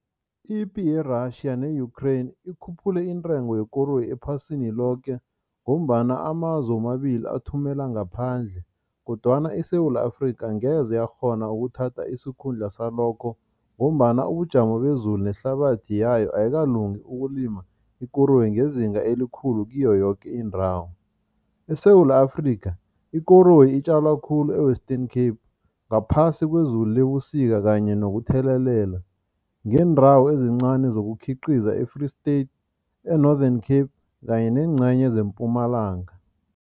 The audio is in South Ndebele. Ipi ye-Russia ne-Ukraine ikhuphule intengo yekoroyi ephasini loke ngombana amazwe womabili athumela ngaphandle kodwana iSewula Afrika angeze yakghona ukuthatha isikhundla salokho ngombana ubujamo bezulu nehlabathi yayo ayikalungi ukulima ikoroyi ngezinga elikhulu kiyo yoke indawo. ESewula Afrika ikoloyi itjalwa khulu e-Western Cape ngaphasi kwezulu lebusika kanye nokuthelelela ngeendawo ezincani zokukhiqiza e-Free State, e-Northern Cape kanye neengcenye zeMpumalanga.